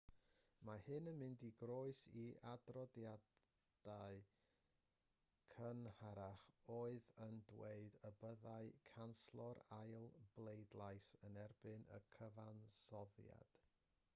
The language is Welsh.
mae hyn yn mynd yn groes i adroddiadau cynharach oedd yn dweud y byddai canslo'r ail bleidlais yn erbyn y cyfansoddiad